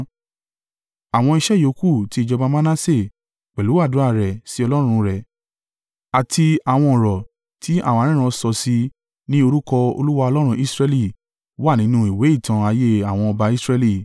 Àwọn iṣẹ́ yòókù ti ìjọba Manase pẹ̀lú àdúrà rẹ̀ sí Ọlọ́run rẹ̀ àti àwọn ọ̀rọ̀ tí àwọn aríran sọ sí i ní orúkọ Olúwa, Ọlọ́run Israẹli, wà nínú ìwé ìtàn ayé àwọn ọba Israẹli.